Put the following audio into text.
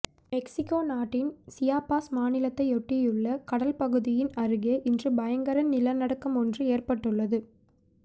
Mexico நாட்டின் Chiapas மாநிலத்தையொட்டியுள்ள கடல்பகுதியின் அருகே இன்று பயங்கர நிலநடுக்கமொன்று ஏற்பட்டுள்ளது